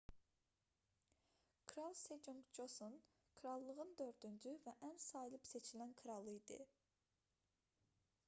kral seconq coson krallığının dördüncü və ən sayılıb-seçilən kralı idi